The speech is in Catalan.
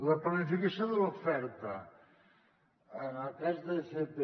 la planificació de l’oferta en el cas d’fp